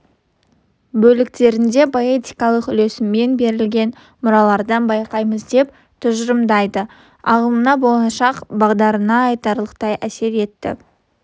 бөліктерінде поэтикалық үйлесіммен берілген мұралардан байқаймыз деп тұжырымдайды ағымына болашақ бағдарына айтарлықтай әсер етті